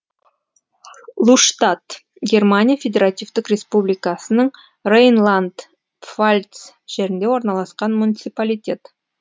луштадт германия федеративтік республикасының рейнланд пфальц жерінде орналасқан муниципалитет